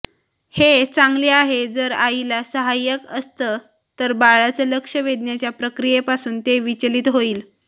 हे चांगले आहे जर आईला सहायक असतं तर बाळाचं लक्ष वेधण्याच्या प्रक्रियेपासून ते विचलित होईल